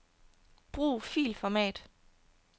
Brug filformat.